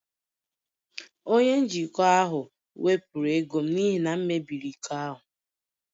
Onye njikwa ahụ wepụrụ ego m n'ihi na m mebiri iko ahụ